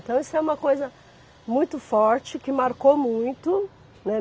Então, isso foi uma coisa muito forte, que marcou muito, né.